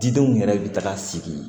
Didenw yɛrɛ bɛ taga sigi